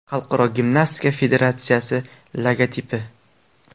Xalqaro gimnastika federatsiyasi logotipi.